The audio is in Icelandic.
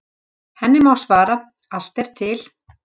Henni má svara: Allt er til.